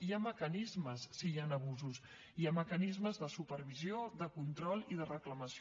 hi ha mecanismes si hi han abusos hi ha mecanismes de supervisió de control i de reclamació